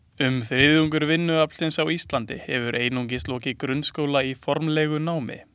Um þriðjungur vinnuaflsins á Íslandi hefur einungis lokið grunnskóla í formlegu námi.